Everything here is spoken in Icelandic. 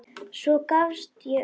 Svo gafst ég upp.